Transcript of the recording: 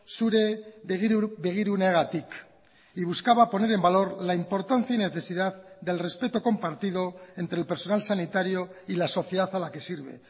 zure begiruneagatik y buscaba poner en valor la importancia y necesidad del respeto compartido entre el personal sanitario y la sociedad a la que sirve